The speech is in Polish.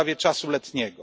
w sprawie czasu letniego.